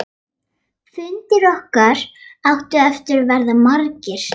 Fundir okkar áttu eftir að verða margir.